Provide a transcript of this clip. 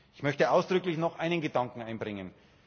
Ich möchte ausdrücklich noch einen Gedanken einbringen.